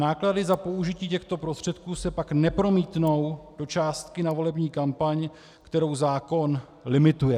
Náklady za použití těchto prostředků se pak nepromítnou do částky na volební kampaň, kterou zákon limituje.